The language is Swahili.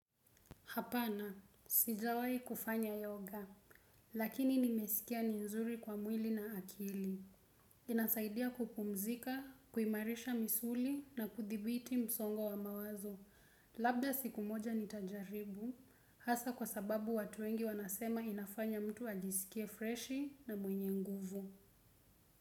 Hapana, sijawai kufanya yoga, lakini nimesikia ni nzuri kwa mwili na akili. Inasaidia kupumzika, kuimarisha misuli na kuthibiti msongo wa mawazo. Labda siku moja nitajaribu, hasa kwa sababu watu wengi wanasema inafanya mtu ajisikie freshi na mwenye nguvu.